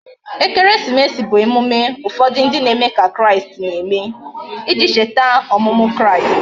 Ekeresimesi bu emume ufodu ndi na eme ka kraist na eme, iji echeta omumu kraist